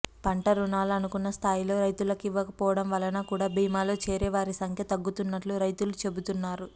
పంట రుణాలు అనుకున్న స్థాయిలో రైతులకు ఇవ్వకపోవడం వలన కూడా బీమాలో చేరే వారి సంఖ్య తగ్గుతున్నట్లు రైతులు చెబుతున్నారు